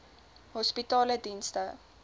hospitaledienste